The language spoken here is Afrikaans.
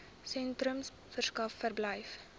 sentrums verskaf verblyf